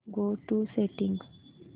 go to settings